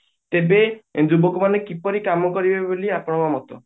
ତେବେ ଲୋକ ମାନେ କିପରି କାମ କରିବେ ବୋଲି ଆପଣଙ୍କ ମତ